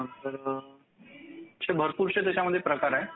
असे भरपूर त्याच्यामध्ये प्रकार आहेत.